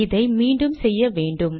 இதை மீண்டும் செய்ய வேண்டும்